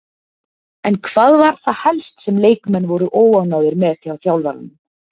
En hvað var það helst sem leikmenn voru óánægðir með hjá þjálfaranum?